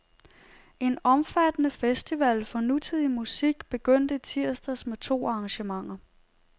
En omfattende festival for nutidig musik begyndte i tirsdags med to arrangementer.